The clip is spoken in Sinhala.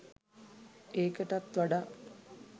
ඒකටත් වඩා